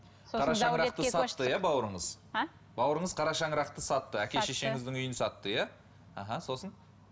иә бауырыңыз аа бауырыңыз қара шаңырақты сатты әке шешеңіздің үйін сатты иә аха сосын